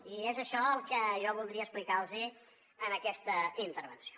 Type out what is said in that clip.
i és això el que jo voldria explicar los en aquesta intervenció